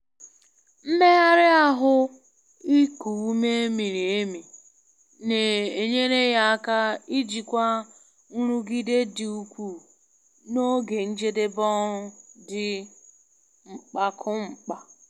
Mmegharị ahụ iku ume miri emi na-enyere ya aka ijikwa nrụgide dị ukwuu n'oge njedebe ọrụ dị mkpakumkpa.